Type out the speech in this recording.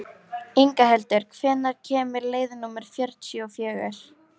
Inghildur, hvenær kemur leið númer fjörutíu og fjögur?